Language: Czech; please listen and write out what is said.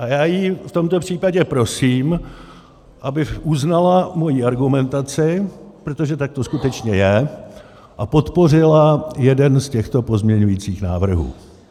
A já ji v tomto případě prosím, aby uznala moji argumentaci, protože tak to skutečně je, a podpořila jeden z těchto pozměňovacích návrhů.